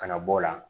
Ka na bɔ o la